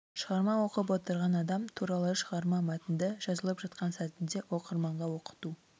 шығарма оқып отырған адам туралы шығарма мәтінді жазылып жатқан сәтінде оқырманға оқыту